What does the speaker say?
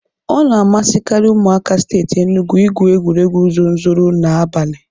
Ọna amasikari Ụmụaka Steeti Enugu igwu egwuregwu zonzoro na abani.